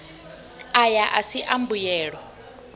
aya a si a mbuyelo